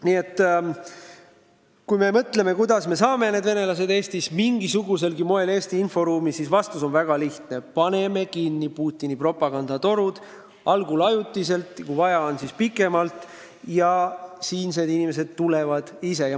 Nii et kui küsida, kuidas me saame need Eesti venelased mingisuguselgi moel Eesti inforuumi, siis vastus on väga lihtne: paneme kinni Putini propagandatorud – algul ajutiselt, aga kui vaja on, siis pikemalt – ja siinsed inimesed tulevad ise sinna.